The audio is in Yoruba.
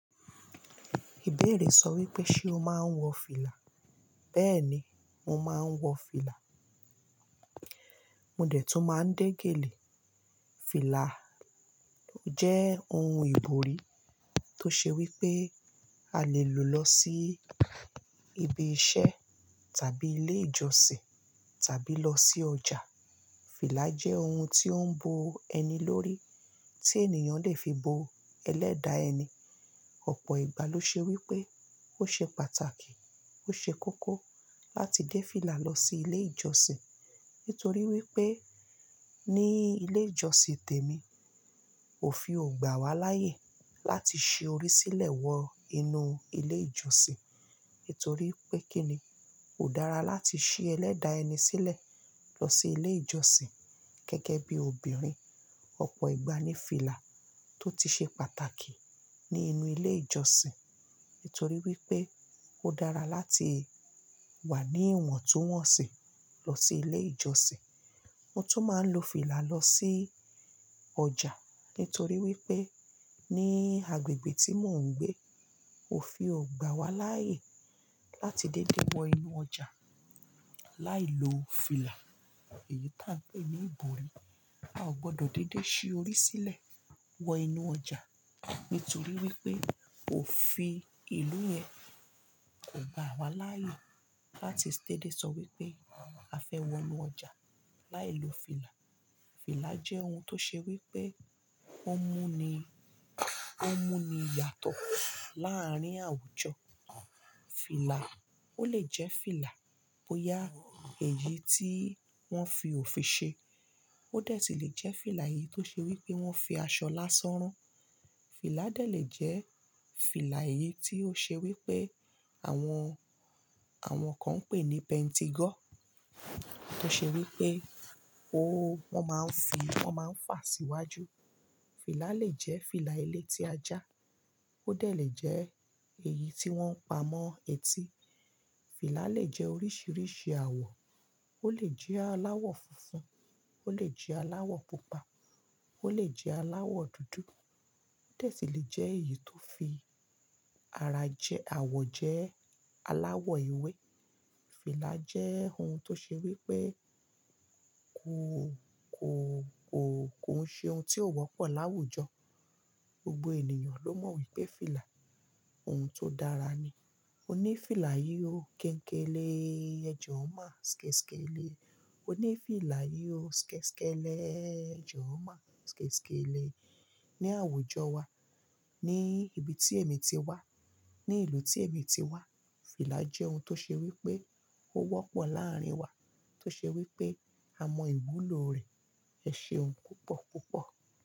Ìbéèrè sọ wípé, ṣe o máa ń wọ fìlà? Béèni mo máa ń wọ fìlà. Mo dè tí màá ń dégèlè. Fìlà jẹ́ ohun ìbòrí tó ṣe wípé a lè lò lọ sí ibi iṣẹ́ tàbí ilé ìjọsìn tàbí lọ sí ọjà. Fìlà jẹ́ ohun tí ó ń bo ẹni lórí, tí ènìyàn lè fi bo ẹlẹ́dàá ẹni. Ọ̀pọ̀ ìgbà ló ṣe wípé ó ṣe pàtàkì, ó ṣe kókó láti dé fìlà lọ sí ilé ìjọsìn nítorí wípé ní ilé ìjọsìn tèmi òfin ọ̀gbà wá láyè láti ṣe orí sílẹ̀ wọ inú ilé ìjọsìn nítorí pé kíni, kò dára láti ṣí ẹlẹ́dàá ẹni sílẹ̀ lọ sí ilé ìjọsìn gẹ́gẹ́ bí obìnrin. Ọ̀pọ̀ ìgbà ní fìlà tó ti ṣe pàtàkì ní inú ilé ìjọsìn nítorí wípé ó dára láti wà ní ìwọ̀ntúnwọ̀nsì lọ sí ilé ìjọsìn. Mo tún máa ń lo fìlà lọ sí ọjà nítorí wípé ní agbègbè tí mò ń gbé òfin ọ̀gbà wá láyè láti dédé wọ inú ọjà láì lo fìlà. Èyí tá ń jẹ́ ní ìbòrí. Ò gbọdọ̀ dédé ṣí orí sílẹ̀ wọ inú ọjà nítorí wípé òfin ìlú yẹn kò gbà wá láyè láti dẹ́dé sọ wípé a fẹ́ wọ inú ọjà láì lo fìlà. Fìlà jẹ́ ohun tó ṣe wípé ó mú ni, ó mú ni yàtọ̀ láárín àwùjọ. Fìlà ó lè jẹ́ fìlà bóyá èyí tí wọ́n fi òfin ṣe. Ó dè sí lè jẹ́ fìlà èyí tó ṣe wípé wọ́n fi aṣọ lásán rán. Fìlà dẹ̀ lè jẹ́ fìlà èyí tí ó ṣe wípé àwọn, àwọn kan ń pè ní pentigo tó ṣe wípé ó, wọ́n máa ń fi, wọ́n máa ń fà síwájú. Fìlà lè jẹ́ fìlà ilé tí ajá. Ó dẹ̀ lè jẹ́ èyí tí wọ́n ń pa mọ́ etí. Fìlà lè jẹ́ oríṣiríṣi àwọ̀. Ó lè jẹ́ aláwọ̀ funfun, ó lè jẹ́ aláwọ̀ pupa, ó lè jẹ́ aláwọ̀ dúdú. Ó dè sí lè jẹ́ èyí tó fi ara jẹ́, àwọ̀ jẹ́ aláwọ̀ ewé. Fìlà jẹ́ ohun tó ṣe wípé kò, kò, kò, kò ń ṣe ohun tí ò wọ́pọ̀ láwùjọ. Gbogbo ènìyàn ló mọ̀ wípé fìlà ohun tó dára ni. O ní fìlà yíò kéńkélé, ẹ jọ máa skẹ́skẹ́lé. O ní fìlà yíò skẹ́skẹ́lé, ẹ jọ máa skẹ́skẹ́lé. Ni àwùjọ wa, ní ibi tí èmi ti wá, ní ìlú tí èmi ti wá, fìlà jẹ́ ohun tó ṣe wípé ó wọ́pọ̀ láàárín wa, tó ṣe wípé a mọ ìwúlò rẹ̀, ẹṣeun púpọ̀ púpọ̀